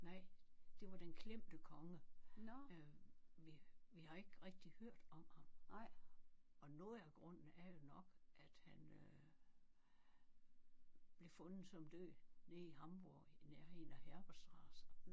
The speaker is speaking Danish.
Nej det var Den Klemte Konge øh vi vi har ikke rigtig hørt om ham og noget af grunden er jo nok at han øh blev fundet som død nede i Hamborg i nærheden af Herbertstraẞe